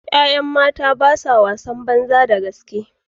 ’Ya’yan mata ba sa yin wasan banza da gaske.